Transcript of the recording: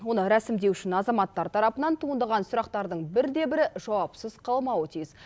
оны рәсімдеу үшін азаматтар тарапынан туындаған сұрақтардың бірде бірі жауапсыз қалмауы тиіс